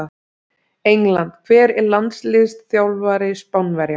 England Hver er landsliðsþjálfari Spánverja?